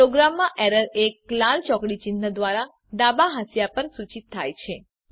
પ્રોગ્રામમાં એરર એક લાલ ચોકડી ચિન્હ દ્વારા ડાબા હાંસિયા પર સૂચિત થાય છે